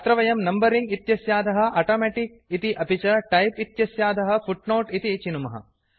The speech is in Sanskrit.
अत्र वयं नंबरिंग इत्यस्याधः ऑटोमेटिक इति अपि च टाइप इत्यस्याधः फूटनोटे इति चिनुमः